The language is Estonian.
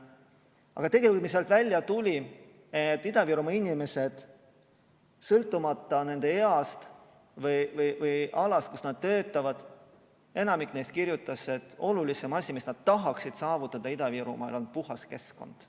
Aga tegelikult, mis sealt välja tuli: Ida-Virumaa inimesed, sõltumata nende east või või alast, kus nad töötavad, enamik neist kirjutas, et kõige olulisem asi, mis nad tahaksid saavutada Ida-Virumaal, on puhas keskkond.